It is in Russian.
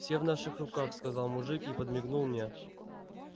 все в наших руках сказал мужик и подмигнул мне